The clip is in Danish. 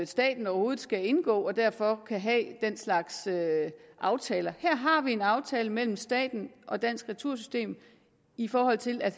staten overhovedet skal indgå og derfor kan have den slags aftaler her har vi en aftale mellem staten og dansk retursystem i forhold til at